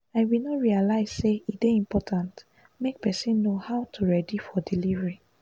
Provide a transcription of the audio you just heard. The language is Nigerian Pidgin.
i bin no realize say e dey important make person know how to ready for delivery